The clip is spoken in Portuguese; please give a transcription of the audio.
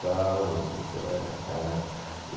Calma, meu filho, você vai achar.